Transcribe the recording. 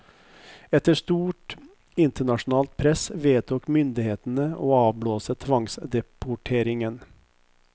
Etter stort internasjonalt press vedtok myndighetene å avblåse tvangsdeporteringen.